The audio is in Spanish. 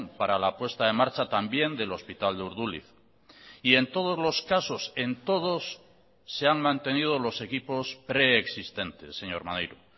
para la puesta en marcha también del hospital de urduliz y en todos los casos en todos se han mantenido los equipos preexistentes señor maneiro